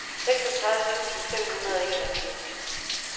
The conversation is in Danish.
seksogtredive tusind fem hundrede og enogfirs